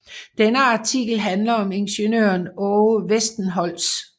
Denne artikel handler om ingeniøren Aage Westenholz